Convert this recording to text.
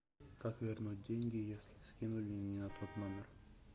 как вернуть деньги если скинули не на тот номер